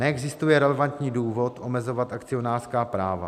Neexistuje relevantní důvod omezovat akcionářská práva.